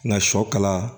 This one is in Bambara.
Nga sɔ kala